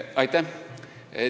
Aitäh!